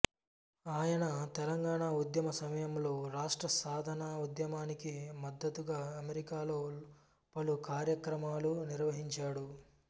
ఆయన తెలంగాణ ఉద్యమ సమయంలో రాష్ట్ర సాధన ఉద్యమానికి మద్దతుగా అమెరికాలో పలు కార్యక్రమాలు నిర్వహించాడు